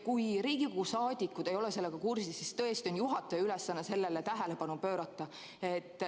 Kui Riigikogu liikmed ei ole sellega kursis, siis tõesti on juhataja ülesanne sellele tähelepanu pöörata.